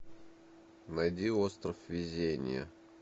найди остров везения